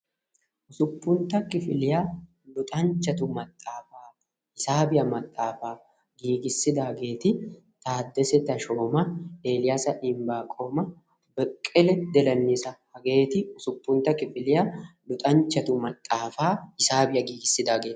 usuppuntta kifiliyaa luxanchatu maxxaafaa hisaabiyaa maxxaafaa giigissidaageeti taddese teshoma, eliyasa embaqooma, beqqele dilnesa hageeti usuppuntta kifiliyaa luxanchchatu maxaafaa hisaabiyaa gigissidaageeta.